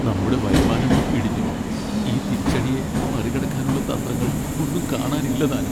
നമ്മുടെ വരുമാനം ഇടിഞ്ഞു! ഈ തിരിച്ചടിയെ മറികടക്കാനുള്ള തന്ത്രങ്ങൾ ഒന്നും കാണാനില്ലതാനും.